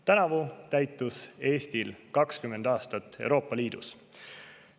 Tänavu täitus Eestil 20 aastat Euroopa Liidus.